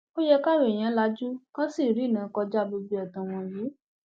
ó yẹ káwọn èèyàn lajú kí wọn sì rìnnà kọjá gbogbo ẹtàn wọn yìí